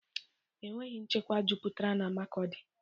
E nweghi nchekwa jupụtara n'Makodi